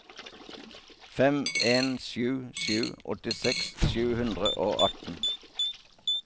fem en sju sju åttiseks sju hundre og atten